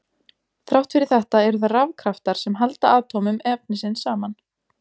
Þrátt fyrir þetta eru það rafkraftar sem halda atómum efnisins saman.